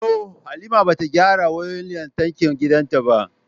No, ba ta gyara wayoyin lantarkin gidanta ba.